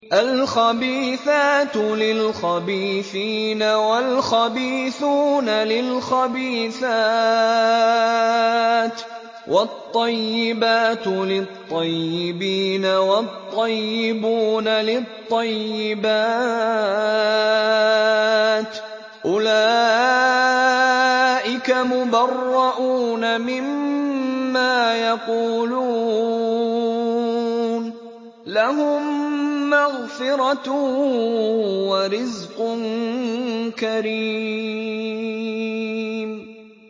الْخَبِيثَاتُ لِلْخَبِيثِينَ وَالْخَبِيثُونَ لِلْخَبِيثَاتِ ۖ وَالطَّيِّبَاتُ لِلطَّيِّبِينَ وَالطَّيِّبُونَ لِلطَّيِّبَاتِ ۚ أُولَٰئِكَ مُبَرَّءُونَ مِمَّا يَقُولُونَ ۖ لَهُم مَّغْفِرَةٌ وَرِزْقٌ كَرِيمٌ